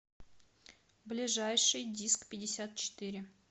ближайший дискпятьдесятчетыре